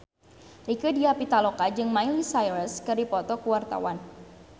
Rieke Diah Pitaloka jeung Miley Cyrus keur dipoto ku wartawan